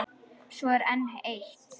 Svo er enn eitt.